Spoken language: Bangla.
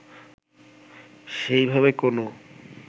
সেই ভাবে কোনও